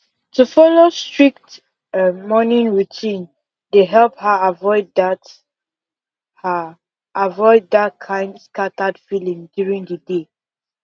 to follow strict um morning routine dey help her avoid that her avoid that kind scattered feeling during the day